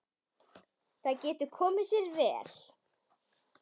Það getur komið sér vel.